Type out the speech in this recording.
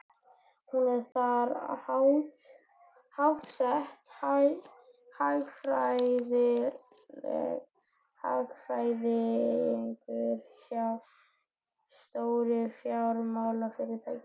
Hún er þar háttsett, hagfræðingur hjá stóru fjármálafyrirtæki.